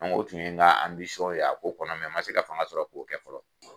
An ko o tun ye n ka ye a ko kɔnɔ n man se ka fanga sɔrɔ k'o kɛ fɔlɔ.